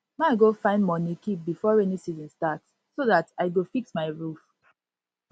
my go find money keep before rainy season start so that i go fix my roof